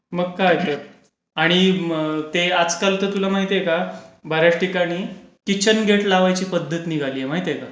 मग काय तर. आणि ते आजकाल तर तुला माहितीये का, बर् याच ठिकाणी किचन गेट लावायची पध्दत निघलीय, माहितीये का?